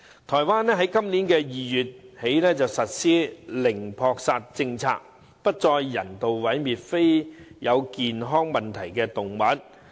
台灣今年2月起實施零撲殺政策，不再人道毀滅非有健康問題的動物。